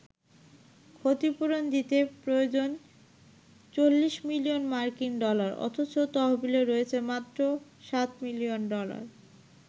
ক্ষতিপূরণ দিতে প্রয়োজন ৪০ মিলিয়ন মার্কিন ডলার অথচ তহবিলে রয়েছে মাত্র ৭ মিলিয়ন ডলার।